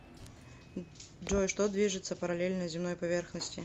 джой что движется параллельно земной поверхности